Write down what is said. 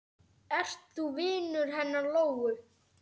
Ert þú vinur hennar Lóu?